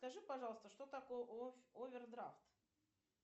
скажи пожалуйста что такое овердрафт